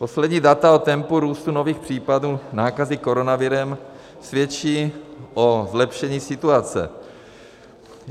Poslední data o tempu růstu nových případů nákazy koronavirem svědčí o zlepšení situace.